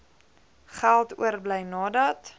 geld oorbly nadat